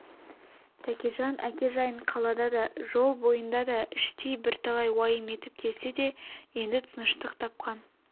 тәкежан әке жайын қалада да жол бойында да іштей бірталай уайым етіп келсе де енді тыныштық тапқан